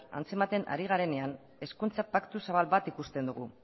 antzematen ari garenean hezkuntza paktu zabal bat ikusten dugu